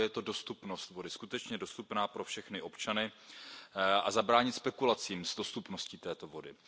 Za prvé je to dostupnost bude li voda skutečně dostupná pro všechny občany a zabránit spekulacím s dostupností této vody.